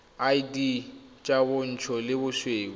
id tsa bontsho le bosweu